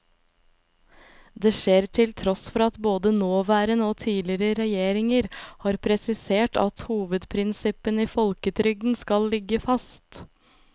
Det skjer til tross for at både nåværende og tidligere regjeringer har presisert at hovedprinsippene i folketrygden skal ligge fast.